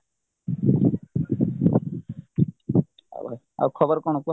ଆଉ ଭାଇ ଆଉ ଖବର କଣ କୁହ ?